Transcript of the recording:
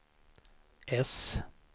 äss